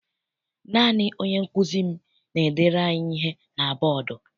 Naanị onye nkụzi m n'edere anyị ihe na bọdu.